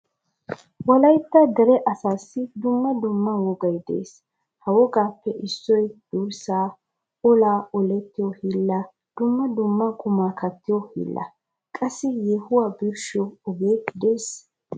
Wolaytta dere asaasi dumma dumma wogaay de'ees. Ha wogaappe issoy durssa, olaa oletiyi hiilla, dumma dumma quma kattiyo hiilla qassi yohuwaa birshshiyo oge de'ees.